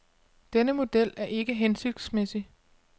Denne model er ikke hensigtsmæssig.